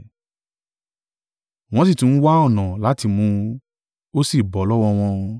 Wọ́n sì tún ń wá ọ̀nà láti mú un: ó sì bọ́ lọ́wọ́ wọn.